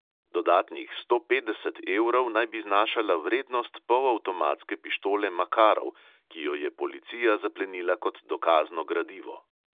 Dodatnih sto petdeset evrov naj bi znašala vrednost polavtomatske pištole makarov, ki jo je policija zaplenila kot dokazno gradivo.